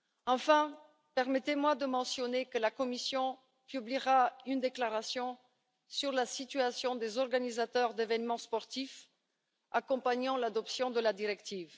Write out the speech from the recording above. Enfin, permettez moi de mentionner que la Commission publiera une déclaration sur la situation des organisateurs d'événements sportifs accompagnant l'adoption de la directive.